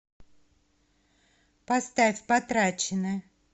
поставь потрачено